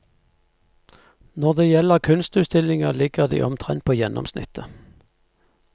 Når det gjelder kunstutstillinger ligger de omtrent på gjennomsnittet.